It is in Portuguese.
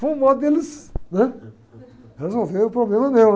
Foi um modo deles, né? Resolveram o problema meu, né?